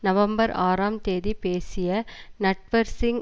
November ஆறாம் தேதி பேசிய நட்வர் சிங்